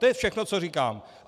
To je všechno, co říkám.